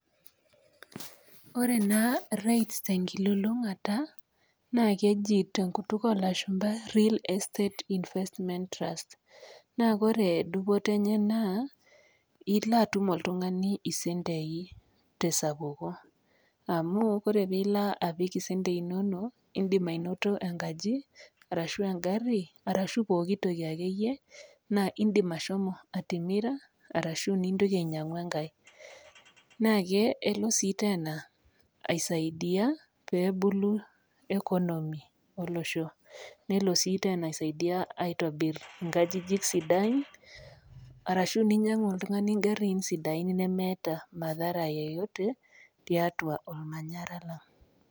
Ore naa REITs te nkilulunkata naake eji te nkutuk oo lashumba Real Estate Investment Trust naa kore dupoto enye naa ilo atum oltung'ani isentei te sapuko amu kore piilo apik isentei inonok indim ainoto enkaji arashu eng'ari arashu pookitoki akeyie naa indim ashomo atimira arashu nintoki ainyang'u enkae. Naake elo sii tena aisaidia peebulu economy olosho, nelo sii tena aisaidia aitobir nkajijik sidan arashu ninyang'u oltung'ani ng'ariin sidain nemeeta madahara yeyote tiatua ormanyara lang'.